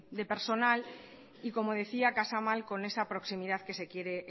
de personal y como decía casa mal con esas proximidad que se quiere